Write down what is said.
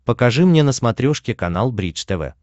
покажи мне на смотрешке канал бридж тв